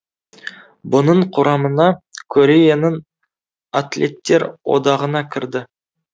бұның құрамына кореяның атлеттер одағына кірді